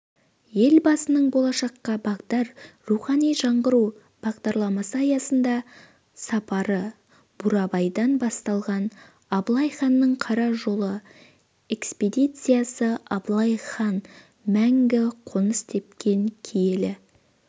елбасының болашаққа бағдар рухани жаңғыру бағдарламасы аясында сапары бурабайдан басталған абылай ханның қара жолы экспедициясы абылай хан мәңгі қоныс тепкен киелі